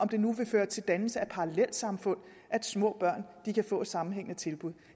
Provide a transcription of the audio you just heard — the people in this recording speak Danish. det nu vil føre til dannelse af parallelsamfund at små børn kan få et sammenhængende tilbud